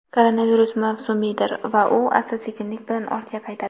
koronavirus mavsumiydir va u asta-sekinlik bilan ortga qaytadi.